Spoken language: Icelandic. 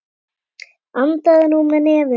Andaðu nú með nefinu!